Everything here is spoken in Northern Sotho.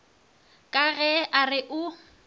ka ge a re o